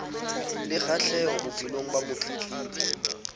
le kgahleho bophelong ba motletlebi